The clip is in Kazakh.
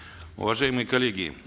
уважаемые коллеги